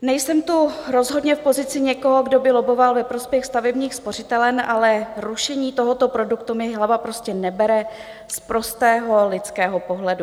Nejsem tu rozhodně v pozici někoho, kdo by lobboval ve prospěch stavebních spořitelen, ale rušení tohoto produktu mi hlava prostě nebere z prostého lidského pohledu.